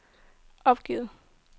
opgivet